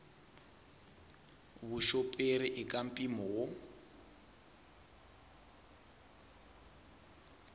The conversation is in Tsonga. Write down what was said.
vuxoperi i ka mpimo wo